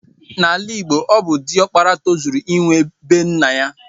Na ala igbo ọbụ di okpara tozuru inwe bee nnaya.